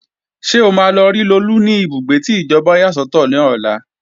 Ṣé o máa lọ rí Lolú ní ibùgbé tí ìjọba yà sọ́tọ̀ lọ́la?